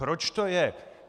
Proč to je?